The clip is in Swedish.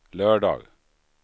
lördag